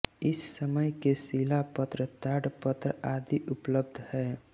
इस समय के शिलापत्र ताडपत्र आदि उपलब्ध है